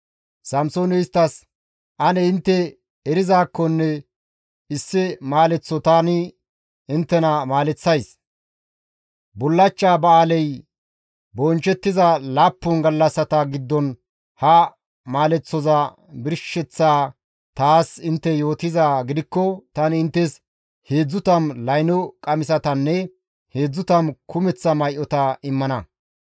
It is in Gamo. Samsooney isttas, «Ane intte erizaakkonne issi maaleththo tani inttena maaleththays; bullachcha ba7aaley bonchchettiza laappun gallassata giddon ha maaleththoza birsheththaa taas intte yootizaa gidikko tani inttes 30 layno qamisatanne 30 kumeththa may7ota immana.